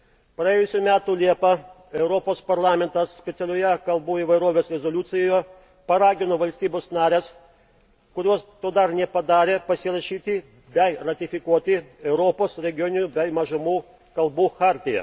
Praėjusių metų liepą Europos Parlamentas specialioje kalbų įvairovės rezoliucijoje paragino valstybes nares, kurios to dar nepadarė, pasirašyti bei ratifikuoti Europos regioninių bei mažumų kalbų chartiją.